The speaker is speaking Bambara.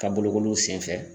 Ka bolokoliw senfɛ.